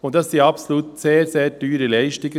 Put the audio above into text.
Dies sind absolut sehr, sehr teure Leistungen.